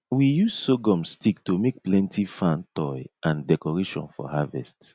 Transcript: we use sorghum stick to make plenty fan toy and decoration for harvest